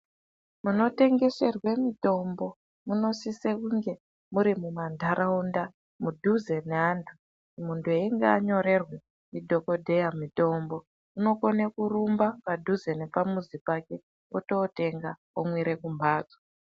Munotengeserwe mitombo munosise kunge muri mumantaraunda mudhuze neantu. Muntu einga anyorerwe ndidhokodheya mitombo, unokona kurumba padhuze nepamuzi pake ototenga omwire kumhatso.